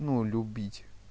ну любить